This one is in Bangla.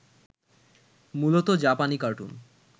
মূলত জাপানী কার্টুন